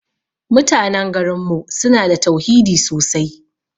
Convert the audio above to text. Mutanan garin mu suna da tauhidi sosai.